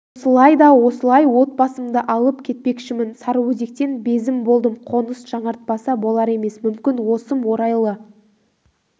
осылай да осылай отбасымды алып кетпекшімін сарыөзектен безіп болдым қоныс жаңартпаса болар емес мүмкін осым орайлы